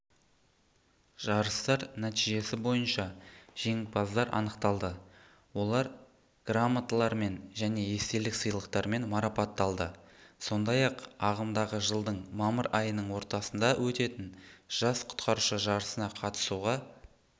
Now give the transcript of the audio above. жарыстар нәтижесі бойынша жеңімпаздар анықталды олар грамоталармен және естелік сыйлықтармен марапатталды сондай-ақ ағымдағы жылдың мамыр айының ортасында өтетін жас құтқарушы жарысына қатысуға